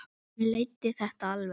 hann leiddi þetta alveg.